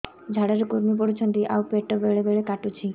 ଝାଡା ରେ କୁର୍ମି ପଡୁଛନ୍ତି ଆଉ ପେଟ ବେଳେ ବେଳେ କାଟୁଛି